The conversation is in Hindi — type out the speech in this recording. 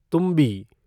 तुम्बी